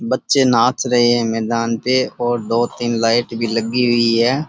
बच्चे नाच रहे है मैदान पे और दो तीन लाइट भी लगी हुई है।